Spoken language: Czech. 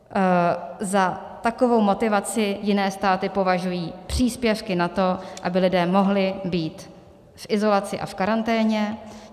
Za takovou motivaci jiné státy považují příspěvky na to, aby lidé mohli být v izolaci a v karanténě.